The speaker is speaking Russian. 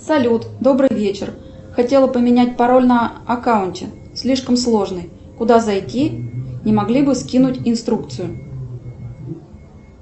салют добрый вечер хотела поменять пароль на аккаунте слишком сложный куда зайти не могли бы скинуть инструкцию